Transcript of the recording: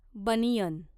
बनियन